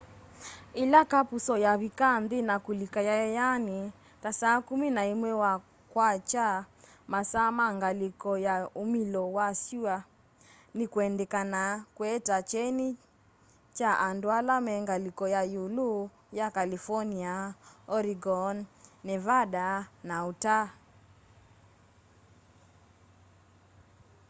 ĩla kapusoo yavika nthĩ na kulika yayayanĩ ta saa kumi na ĩmwe wa kwakya masaa ma ngalĩko ya umĩlo wa syũa nĩ kwendekanaa kũete kyeni kwa andũ ala me ngalĩko ya ĩũlũ ya california oregon nevada na utah